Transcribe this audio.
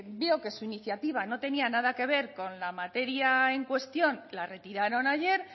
veo que su iniciativa no tenía nada que ver con la materia en cuestión la retiraron ayer